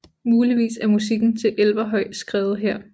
Muligvis er musikken til Elverhøj skrevet her